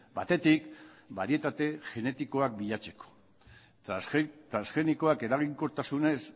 batetik barietate genetikoak bilatzeko transgenikoak eraginkortasunez